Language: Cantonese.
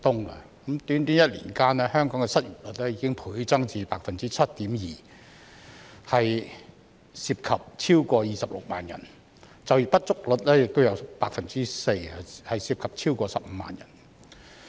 在短短1年間，香港的失業率已經倍增至 7.2%， 涉及超過26萬人，就業不足率亦有 4%， 涉及超過15萬人。